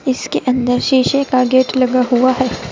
इसके अंदर शीशे का गेट लगा हुआ है।